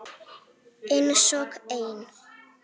Einsog ein.